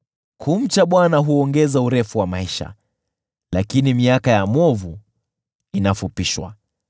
Kumcha Bwana huongeza urefu wa maisha, lakini miaka ya mwovu inafupishwa.